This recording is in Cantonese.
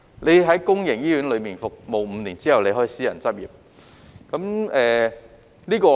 他們在公營醫院服務5年後，可以私人執業。